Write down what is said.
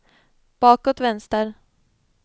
bakåt vänster